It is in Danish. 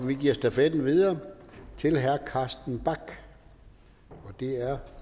vi giver stafetten videre til herre carsten bach og det er